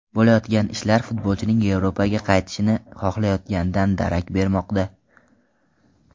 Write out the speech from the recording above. Bo‘layotgan ishlar esa futbolchining Yevropaga qaytishni xohlayotganidan darak bermoqda.